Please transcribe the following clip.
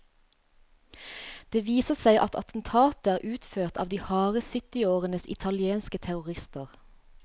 Det viser seg at attentatet er utført av de harde syttiårenes italienske terrorister.